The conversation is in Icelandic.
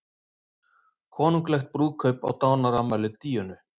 Konunglegt brúðkaup á dánarafmæli Díönu